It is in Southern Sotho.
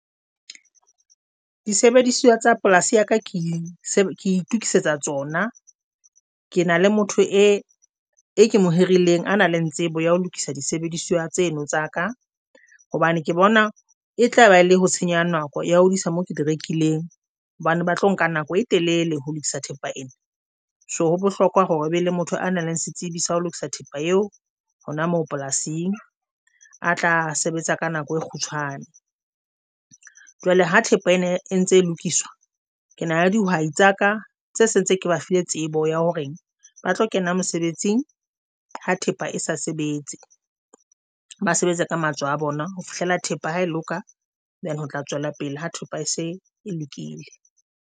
Disebediswa tsa polasi ya ka ke itukisetsa tsona, ke na le motho e ke mo hirileng a nang le tsebo ya ho lokisa disebediswa tseno tsa ka, hobane ke bona e tlaba le ho tsenyo ya nako ya ho diisa moo ke di rekileng hobane ba tlo nka nako e telele ho lokisa thepa ena. So ho bohlokwa hore o be le motho a nang le setsibi sa ho lokisa thepa eo hona moo polasing a tla sebetsa ka nako e kgutshwane jwale ha thepa ena e ntse e lokiswa. Ke nahana dihwai tsa ka tse se ntse ke ba file tsebo ya hore ba tlo kena mosebetsing ha thepa e sa sebetse. Ba sebetsa ka matsoho a bona ho fihlela thepa ha e loka. Then ho tla tswela pele ha thepa e se e lokile.